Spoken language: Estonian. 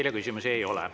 Teile küsimusi ei ole.